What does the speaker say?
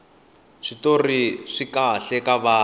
switori swikahle ka vana